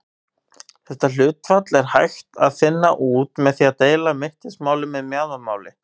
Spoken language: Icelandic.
Þetta hlutfall er hægt að finna út með því að deila í mittismál með mjaðmamáli.